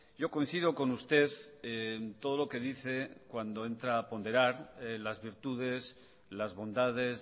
yo coincido con usted en todo lo que dice cuando entra a ponderar las virtudes las bondades